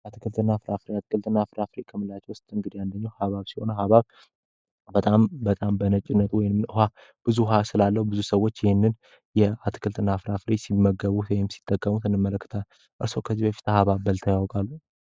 የአትክልት እና ፍራፍሪ ከምላቸ ውስጥ እንግድ ያንደኘው አሀባብ ሲሆነ አሀባብ በጣም በጣም በነጭነት ወይንም ውሃ ብዙ ሃ ስላለው ብዙ ሰዎች ይህንን የአትክልት እና አፍራ ፍሬች ሲመገቡት ወይም ሲጠቀሙት እንመለክታ እርስ ከዚህ በፊት አህባበል ተያውቃሉ?